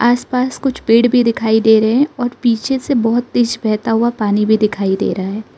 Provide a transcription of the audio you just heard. आस पास कुछ पेड़ भी दिखाई दे रहे हैं और पीछे से बहोत तेज बहता हुआ पानी भी दिखाई दे रहा है।